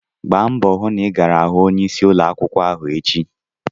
Gba mbọ hụ na ị gara hụ onyeisi ụlọ akwụkwọ ahụ echi!